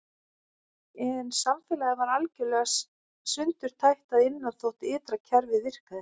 En samfélagið var algjörlega sundurtætt að innan þótt ytra kerfið virkaði.